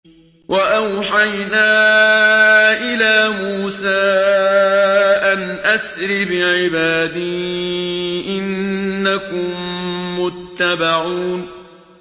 ۞ وَأَوْحَيْنَا إِلَىٰ مُوسَىٰ أَنْ أَسْرِ بِعِبَادِي إِنَّكُم مُّتَّبَعُونَ